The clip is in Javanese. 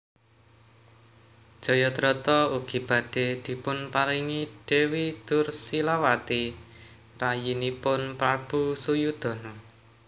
Jayadrata ugi badhe dipunparingi Dewi Dursilawati rayinipun Prabu Suyudana